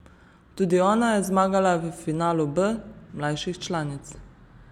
Tudi ona je zmagala v finalu B mlajših članic.